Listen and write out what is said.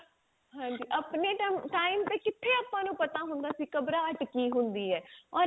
ਹਾਜੀ ਆਪਣੇ time time ਤੇ ਕਿਥੇ ਆਪਾਂ ਨੂੰ ਪਤਾ ਹੁੰਦਾ ਸੀ ਗਬ੍ਰਾਹੱਟ ਕੀ ਹੁੰਦੀ ਹੈ or ਅੱਜ ਕੱਲ